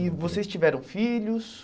E vocês tiveram filhos?